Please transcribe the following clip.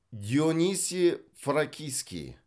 дионисий фракийский